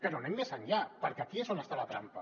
però anem més enllà per·què aquí és on està la trampa